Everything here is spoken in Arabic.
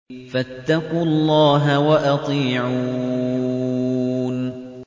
فَاتَّقُوا اللَّهَ وَأَطِيعُونِ